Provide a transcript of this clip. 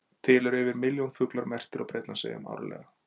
Til dæmis eru yfir milljón fuglar merktir á Bretlandseyjum árlega.